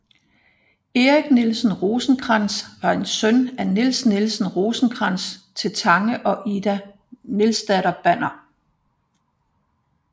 Erik Nielsen Rosenkrantz var en søn af Niels Nielsen Rosenkrantz til Tange og Ide Nielsdatter Banner